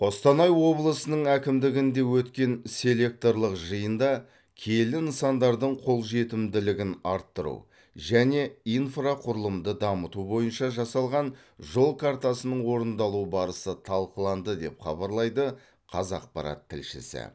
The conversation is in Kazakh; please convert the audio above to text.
қостанай облысының әкімдігінде өткен селекторлық жиында киелі нысандардың қолжетімділігін арттыру және инфрақұрылымды дамыту бойынша жасалған жол картасының орындалу барысы талқыланды деп хабарлайды қазақпарат тілшісі